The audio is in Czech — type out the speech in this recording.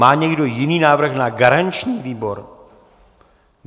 Má někdo jiný návrh na garanční výbor?